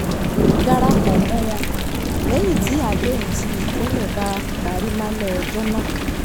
darapọ̀ mọ́ wọn lẹ́yìn tí àdéhùn ti tẹ́lẹ̀ bá parí lálẹ́ ọjọ́ náà